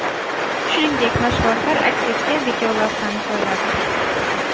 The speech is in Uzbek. Shuningdek, mashg‘ulotlar aks etgan videolavhani joyladi.